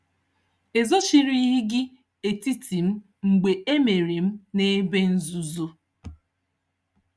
"Ezochirighị gị etiti m mgbe emere m n'ebe nzuzo.